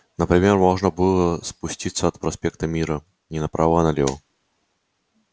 например можно было спуститься от проспекта мира не направо а налево